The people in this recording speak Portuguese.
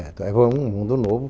Era um mundo novo.